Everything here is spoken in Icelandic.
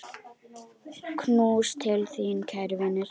Knús til þín, kæri vinur.